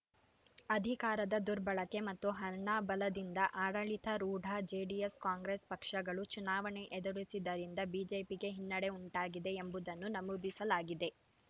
ಅಧಿಕಾರದ ದುರ್ಬಳಕೆ ಮತ್ತು ಹಣ ಬಲದಿಂದ ಆಡಳಿತಾರೂಢ ಜೆಡಿಎಸ್‌ಕಾಂಗ್ರೆಸ್‌ ಪಕ್ಷಗಳು ಚುನಾವಣೆ ಎದುರಿಸಿದ್ದರಿಂದ ಬಿಜೆಪಿಗೆ ಹಿನ್ನಡೆ ಉಂಟಾಗಿದೆ ಎಂಬುದನ್ನು ನಮೂದಿಸಲಾಗಿದೆ